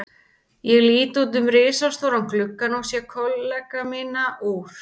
Ég lít út um risastóran gluggann og sé kollega mína úr